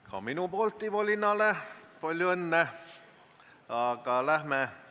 Ka minu poolt Ivo Linnale palju õnne!